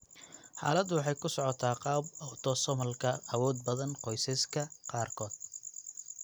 Xaaladdu waxay ku socotaa qaab autosomalka awood badan qoysaska qaarkood.